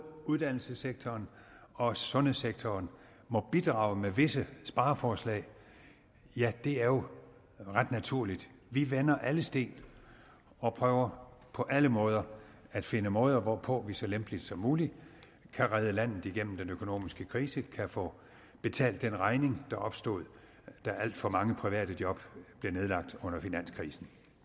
uddannelsessektoren og sundhedssektoren må bidrage med visse spareforslag ja det er jo ret naturligt vi vender alle sten og prøver på alle måder at finde måder hvorpå vi så lempeligt som muligt kan redde landet igennem den økonomiske krise kan få betalt den regning der opstod da alt for mange private job blev nedlagt under finanskrisen